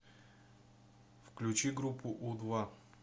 включи группу у два